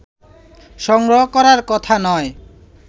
সংগ্রহ করার কথা নয়